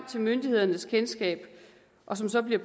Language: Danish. til myndighedernes kendskab og så så bliver